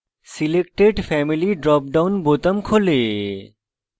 selected family drop down বোতাম খোলে